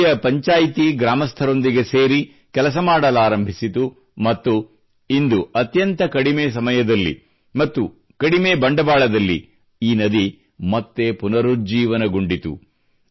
ಇಲ್ಲಿಯ ಪಂಚಾಯ್ತಿ ಗ್ರಾಮಸ್ಥರೊಂದಿಗೆ ಸೇರಿ ಕೆಲಸ ಮಾಡಲಾರಂಭಿಸಿತು ಮತ್ತು ಇಂದು ಅತ್ಯಂತ ಕಡಿಮೆ ಸಮಯದಲ್ಲಿ ಮತ್ತು ಕಡಿಮೆ ಬಂಡವಾಳದಲ್ಲಿ ಈ ನದಿ ಮತ್ತೆ ಪುನರುಜ್ಜೀವನಗೊಂಡಿತು